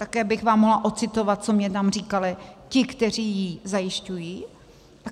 Také bych vám mohla odcitovat, co mi tam říkali ti, kteří ji zajišťují.